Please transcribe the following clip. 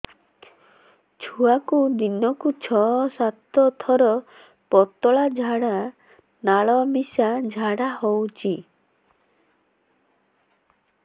ଛୁଆକୁ ଦିନକୁ ଛଅ ସାତ ଥର ପତଳା ନାଳ ମିଶା ଝାଡ଼ା ହଉଚି